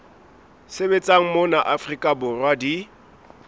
sebetsang mona afrika borwa di